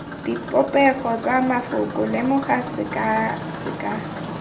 dipopego tsa mafoko lemoga sekaseka